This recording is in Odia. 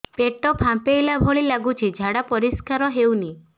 ପେଟ ଫମ୍ପେଇଲା ଭଳି ଲାଗୁଛି ଝାଡା ପରିସ୍କାର ହେଉନି